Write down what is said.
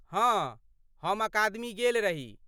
हँ, हम अकादमी गेल रही।